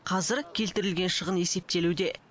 қазір келтірілген шығын есептелуде